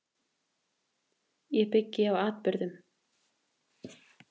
Ég byggi á atburðum.